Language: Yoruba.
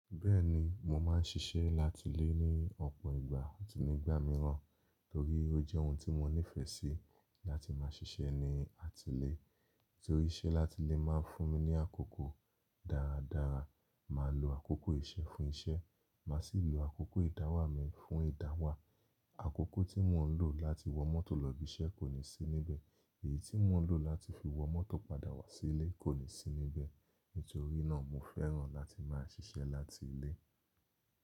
Bẹ́ẹ̀ni mo máa ń ṣiṣẹ́ láti ilé ní ọ̀pọ̀ ìgbà àti nígbà mìíràn torí ó jẹ́ ohun tí mo nífẹ̀ẹ́ sí láti máa ṣiṣẹ́ ní àti ilé. Nítorí iṣẹ́ láti ilé máa ń fún mi ní àkókò dáradára, màá lo àkókò iṣẹ́ fún iṣẹ́, màá sì lo àkókò ìdáwámí fún ìdáwà. Àkókò tí mo ń lò láti wọ mọ́tò lọ ibi iṣẹ́ kò ní sí níbẹ̀ èyí tí mo n lò láti fi wọ mọ́tò padà wá sí ilé kò ní sí níbẹ̀. Nítorí náà mo fẹ́ràn láti máa ṣiṣẹ́ láti ilé.